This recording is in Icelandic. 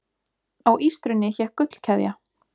Á ístrunni hékk gullkeðja.